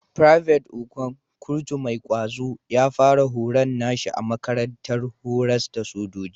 Private Okon, kurtu mai ƙwazo, ya fara horon nashi a makarantar horas da sojoji.